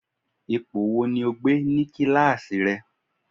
Ipò wo ni o gbé ní kíláàsì rẹ